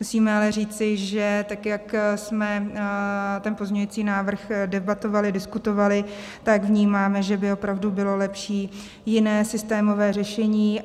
Musíme ale říci, že tak jak jsme ten pozměňující návrh debatovali, diskutovali, tak vnímáme, že by opravdu bylo lepší jiné systémové řešení.